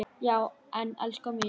Já en elskan mín.